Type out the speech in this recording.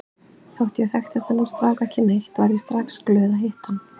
Þótt ég þekkti þennan strák ekki neitt varð ég strax glöð að hitta hann.